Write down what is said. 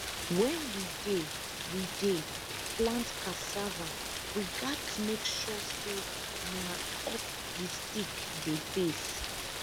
wen we dey we dey plant cassava we gats make sure say na up di stick dey face